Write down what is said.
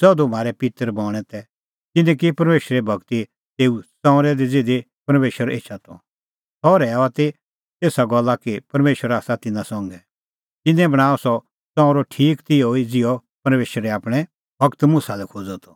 ज़धू म्हारै पित्तर बणैं तै तिन्नैं की परमेशरे भगती तेऊ ताम्बू दी ज़िधी परमेशर एछा त सह रहैऊआ त एसा गल्ला कि परमेशर आसा तिन्नां संघै तिन्नैं बणांअ सह ताम्बू ठीक तिहअ ज़िहअ परमेशरै आपणैं गूर मुसा लै खोज़अ त